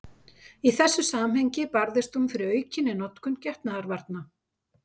Í þessu samhengi barðist hún fyrir aukinni notkun getnaðarvarna.